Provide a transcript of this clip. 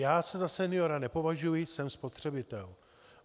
Já se za seniora nepovažuji, jsem spotřebitel.